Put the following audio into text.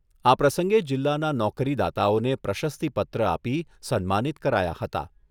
આ પ્રસંગે જિલ્લાના નોકરીદાતાઓને પ્રશસ્તિપત્ર આપી સન્માનિત કરાયા હતા.